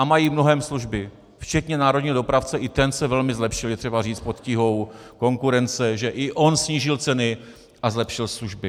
A mají mnohem služby, včetně národního dopravce, i ten se velmi zlepšil, je třeba říct, pod tíhou konkurence, že i on snížil ceny a zlepšil služby.